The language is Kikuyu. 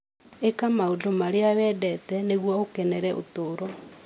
Ĩka maũndũ marĩa wendete nĩguo ũkenere ũtũũro.